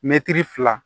Mɛtiri fila